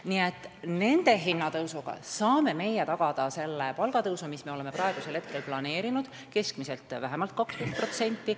Nii et nende hindade tõusuga saame meie tagada selle palgatõusu, mis me oleme praegu planeerinud – keskmiselt vähemalt 12%.